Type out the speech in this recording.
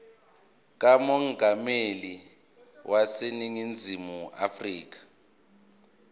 kamongameli waseningizimu afrika